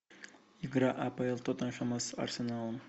игра апл тоттенхэма с арсеналом